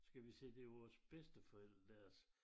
Skal vi sige til vores bedsteforældre deres